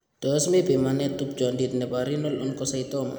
Tos mi pimanetab tupchondit nebo Renal oncocytoma ?